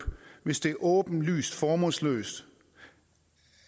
hvis det er åbenlyst formålsløst